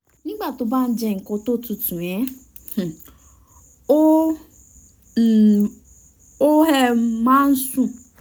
nígbà tó bá jẹ́ nkan tó tutù um ó um máa ń sin